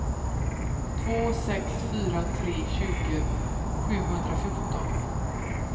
två sex fyra tre tjugo sjuhundrafjorton